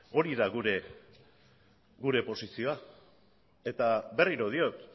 hori da gure posizioa eta berriro diot